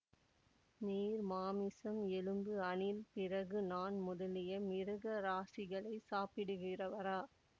நீர் மாமிசம் எலும்பு அணில் பிறகு நான் முதலிய மிருக ராசிகளைச் சாப்பிடுகிறவரா